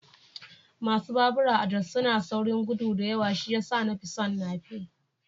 Masu babura a Jos suna saurin gudu da yawa shi ya sa na fi son nape